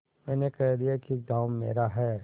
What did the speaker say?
मैंने कह दिया कि गॉँव मेरा है